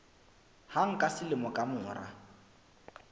hang ka selemo ka mora